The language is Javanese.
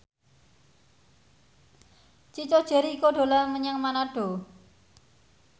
Chico Jericho dolan menyang Manado